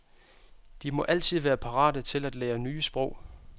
De må altid være parate til at lære nye sprog.